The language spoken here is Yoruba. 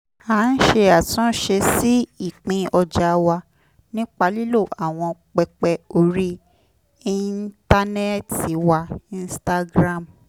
a ń ṣe àtúnṣe sí ìpín ọjà wa nípa lílo àwọn pẹpẹ orí íńtánẹ́ẹ̀tì wa instagram